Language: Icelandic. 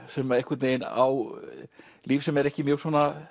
sem á líf sem er ekki mjög